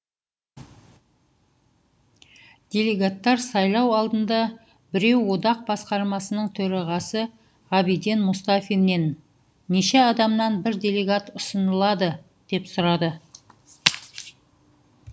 делегаттар сайлау алдында біреу одақ басқармасының төрағасы ғабиден мұстафиннен неше адамнан бір делегат ұсынылады деп сұрады